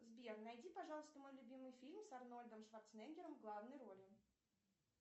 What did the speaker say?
сбер найди пожалуйста мой любимый фильм с арнольдом шварцнегером в главной роли